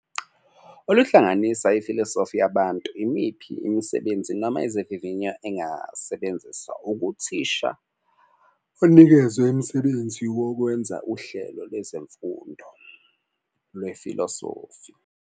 Oluhlanganisa ifilosofi yabantu, imiphi imisebenzi noma izivivinyo engasebenzisa ukuthisha onikezwe imisebenzi wokwenza uhlelo lwezemfundo lwefilosofi.